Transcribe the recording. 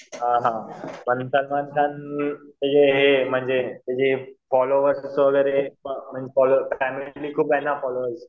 हां हां कारण म्हणजे फॉलोवर्स वगैरे फॅमिली खूप आहे ना फॉलोवर्स